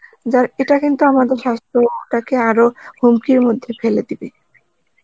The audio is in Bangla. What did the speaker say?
যার ইটা কিন্তু আমাদের সাস্থ্যতাকে আরো হুমকির মধ্যে ফেলে দিবে